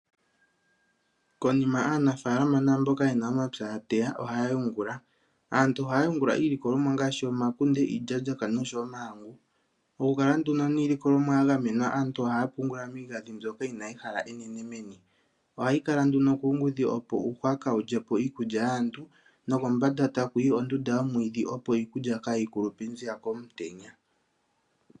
Konima aanafaalama naamboka ye na omapya ya teya ohaa yungula. Aantu ohaa yungula iilikolomwa ngaashi: omakunde, iilyaalyaka noshowo omahangu. Okukala nduno niilikolomwa ya gamenwa aantu ohaa pungula miigandhi mbyoka yi na ehala enene meni. Ohayi kala nduno kuungudhi, opo uuhwa kaawu lye po iikulya yaantu nokombanda taku yi ondunda yomwiidhi, opo iikulya kaayi kulupe nziya komutenya.